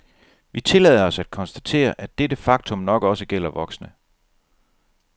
Vi tillader os at konstatere, at dette faktum nok også gælder voksne.